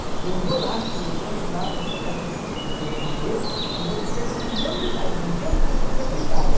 Eu falei, eu vou lá, tio, eu vou levar com a sua carteira profi do seu erre gê e vou dizer que é o senhor que faz, mas eu sou a sua secretária.